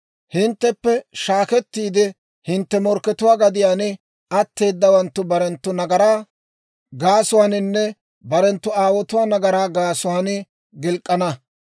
Hintteppe shaakettiide hintte morkkatuwaa gadiyaan atteedawaanttu barenttu nagaraa gaasuwaaninne barenttu aawotuwaa nagaraa gaasuwaan gilk'k'ana.